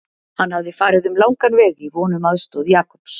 Hann hafði farið um langan veg í von um aðstoð Jakobs.